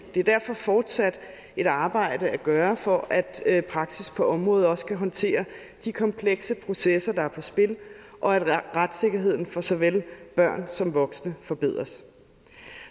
er derfor fortsat et arbejde at gøre for at praksis på området også kan håndtere de komplekse processer der er på spil og at retssikkerheden for såvel børn som voksne forbedres